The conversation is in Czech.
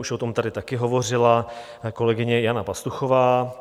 Už o tom tady také hovořila kolegyně Jana Pastuchová.